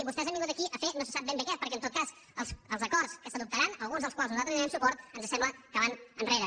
vostès han vingut aquí a fer no se sap ben bé què perquè en tot cas els acords que s’adoptaran alguns dels quals nosaltres hi donem suport ens sembla que van enrere